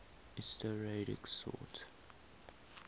lsd radix sort